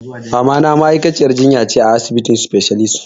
Mamana ma'aikaciyar jinya ce a asibitin specialist.